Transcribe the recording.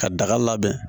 Ka daga labɛn